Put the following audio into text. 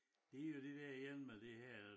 Det jo det dér igen med det her